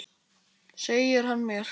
LÁRUS: Segir hann mér!